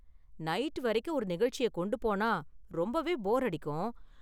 Night வரைக்கும் ஒரு நிகழ்ச்சிய கொண்டு போனா ரொம்பவே போர் அடிக்கும்.